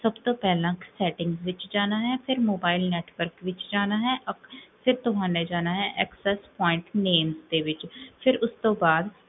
ਸਬ ਤੋ ਪੇਹ੍ਲਾਂ ਤਾਂ settings ਵਿੱਚ ਜਾਣਾ ਹੈ, ਫੇਰ mobile network ਵਿੱਚ ਜਾਣਾ ਹੈ ਫੇਰ ਤੁਹਾਨੇ ਜਾਣਾ ਹੈ excess point names ਦੇ ਵਿੱਚ ਫੇਰ ਉਸ ਤੋਂ ਬਾਦ,